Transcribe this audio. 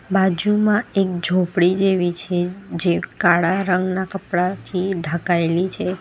બાજુમાં એક ઝોપડી જેવી છે જે કાળા રંગના કપડાથી ઢકાયેલી છે.